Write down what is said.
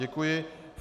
Děkuji.